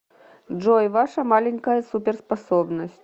джой ваша маленькая суперспособность